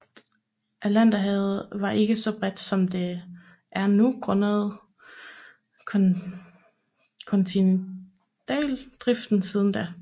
Atlanterhavet var ikke så bredt som det er nu grundet kontinentaldriften siden da